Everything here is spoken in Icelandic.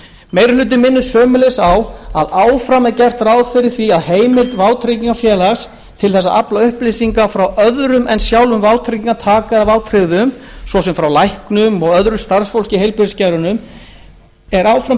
meiri hlutinn minnir sömuleiðis á að áfram er gert ráð fyrir því að heimild vátryggingafélags til þess að afla upplýsinga frá öðrum en sjálfum vátryggingartaka eða vátryggðum svo sem frá læknum eða öðru starfsfólki í heilbrigðisgeiranum sé